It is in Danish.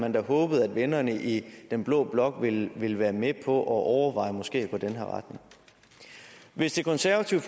man da håbede at vennerne i den blå blok ville ville være med på at overveje måske at gå i den her retning hvis det konservative